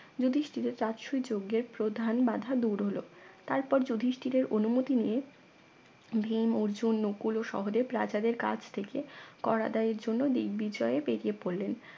যুধিষ্ঠিরের তৎসুই যজ্ঞের প্রধান বাধা দূর হলো তারপর যধিষ্ঠিরের অনুমতি নিয়ে ভীম অর্জুন নকুল ও সহদেব রাজাদের কাছ থেকে কর আদায়ের জন্য দিগ্বিজয় বেরিয়ে পড়লেন